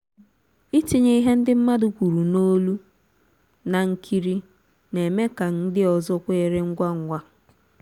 ịtinye ihe ndị mmadụ kwuru n'olu na nkiri na-eme ka ndị ọzọ kweere ngwa ngwa